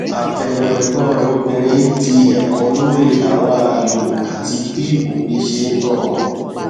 àbẹwò ẹgbọn rẹ obìnrin di ẹkọ lórí àwọn ààyò àti bí òbí ṣe n tọ ọmọ